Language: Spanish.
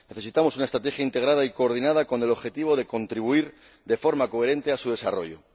Necesitamos una estrategia integrada y coordinada con el objetivo de contribuir de forma coherente a su desarrollo.